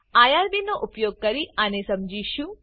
IRB નો ઉપયોગ કરી આને સમજીશું